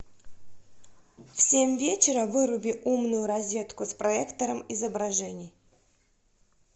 в семь вечера выруби умную розетку с проектором изображений